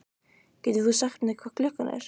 Getur þú sagt mér hvað klukkan er?